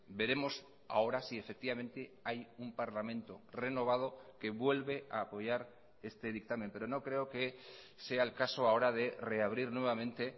veremos ahora si efectivamente hay un parlamento renovado que vuelve a apoyar este dictamen pero no creo que sea el caso ahora de reabrir nuevamente